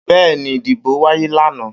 Bẹ́ẹ́ni ìdìbò wáyé lànà